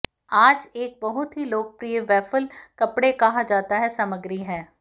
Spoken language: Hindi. आज एक बहुत ही लोकप्रिय वैफ़ल कपड़े कहा जाता है सामग्री है